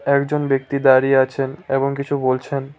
একজন ব্যক্তি দাঁড়িয়ে আছেন এবং কিছু বলছেন।